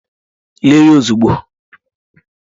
Lie ya ozugbo!